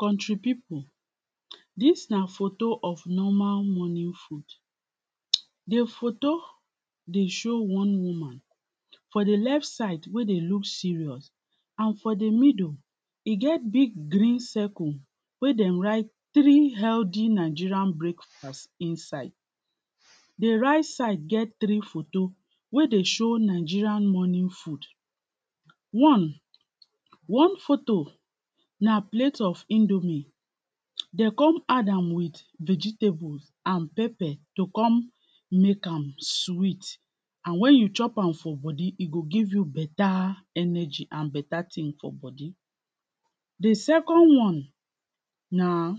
country people this na photo of normal money the photo dey show one woman for the left side wey dey look serious and for the middle e get big green circle wey dem write three healthy nigerian break fast the right side get three photo wey dey show nigerian morning food one one photo na plate of indomie dey come add am with vegetable and pepper to come make am sweet and when you chop am for body e go give you beta energy and beta thing for body the second one na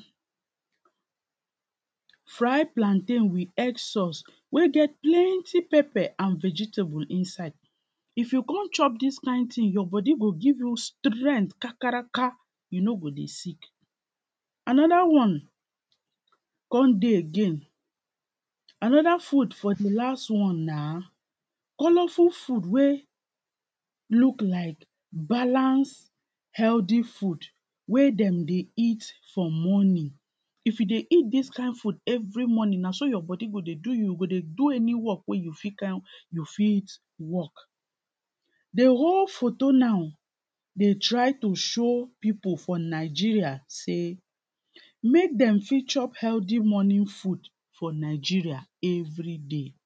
fried plantain with egg sauce wey get plenty pepper and vegitable inside if you come chop this kind thing, your body go give you strength kakaraka you no go dey sick another one con dey again another food for the last one na colourful food wey look like balance healthy food wey dem dey eat for morning if you dey eat this kain food every morning na so your body go dey do you you go dey do any work wey you fit kain you fit work the whole photo now dey try to show people for nigeria sey make dem fit chop healty morning food for nigeria everyday